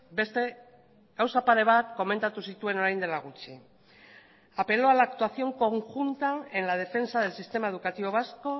beste gauza pare bat komentatu zituen orain dela gutxi apeló a la actuación conjunta en la defensa del sistema educativo vasco